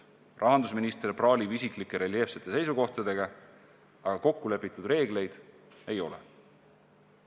Rahandusminister praalib isiklike reljeefsete seisukohtadega, aga kokkulepitud reegleid ei ole.